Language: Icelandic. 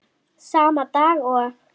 Sama dag og